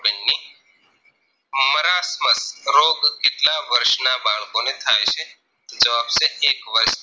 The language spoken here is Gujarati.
રોગ કેટલા વર્ષ ના બાળકોને થાય છે જવાબ છે એક વર્ષ